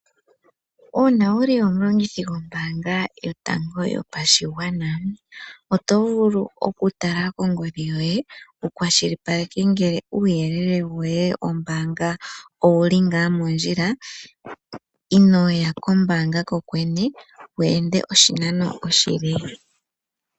Uuna wu li omulongithi gombaanga yotango yopashigwana oto vulu okutala kongodhi yoye wu kwashilipaleke ngele uuyelele woye wombaanga owu li ngaa mondjila inoo ya komabanga ko kwene wu ende oshinano oshile.